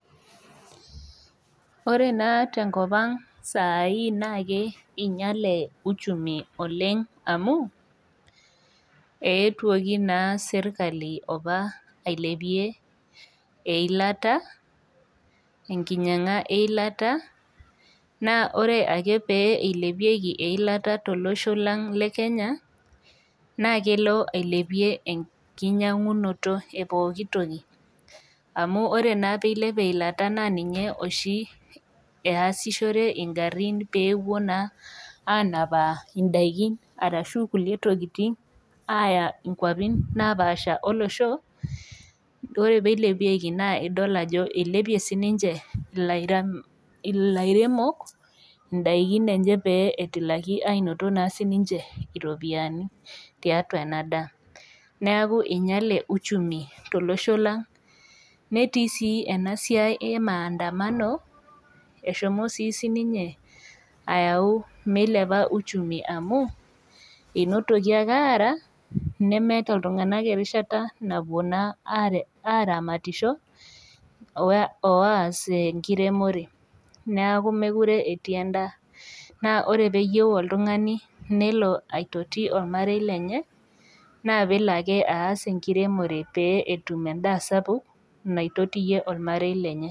Ore naa tenkop ang'saai naa keinyale uchumi oleng' amu eetuoki opa naa serkali ailepie eilata, enkinyang'a eilata, naa ore eke pee eilepieki eilata tolosho leng' le Kenya, naa kelo ailepie enkinyang'unoto e pooki toki. Amu ore naa peilep eilata naa ninye oshi easishore ing'arin peepuo naa anapaa indaikin anaa inkulie tokitin aaya inkwapin napaasha olosho, ore pee eilepieki naa idol ajo neilepie sii ninche ilairemok indaikin enye pee etilaki naa ainoto naa siininche iropiani tiatua ena daa. Neaku enyale uchumi tolosho lang'. Netii sii ena siai e maadamano, eshomo sii sininye aayau meilepa uchumi amu, einotoki ake aara, nemeata iltung'anak erishata napuo naa aramatisho, o aas enkiremore, neaku mekure etii endaa. Naa ore pee eyou oltung'ani neelo aitoti olmarei lenye, naa peelo ake aas enkiremore pee etum endaa sapuk naitotiye olmarei lenye.